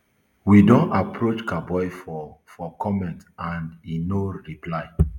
we don approach kaboi for for comment and e no reply